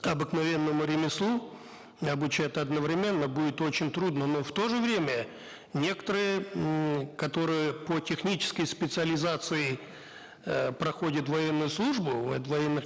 обыкновенному ремеслу обучать одновременно будет очень трудно но в то же время некоторые ммм которые по технической специализации э проходят военную службу вот в военных